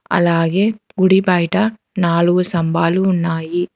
అలాగే గుడిబయట నాలుగు స్తంభాలు ఉన్నాయి.